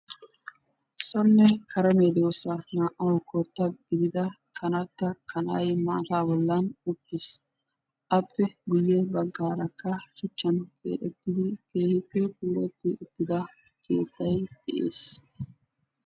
Sone kare medosa naa'awu koota gidida kaanata, kaanay maataa bollan uttis. Appe guuye baggaraka shuuchan keexettidi keehippe puulatida uttida keettay de'ees.